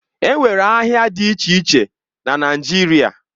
Enwere ahịa dị iche iche na Naijiria